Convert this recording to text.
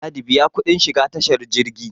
ladi biya kudin shiga tashar jirgi